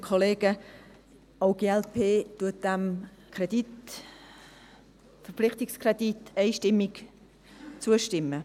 Auch die glp stimmt diesem Verpflichtungskredit einstimmig zu.